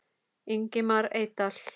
Ingimar Eydal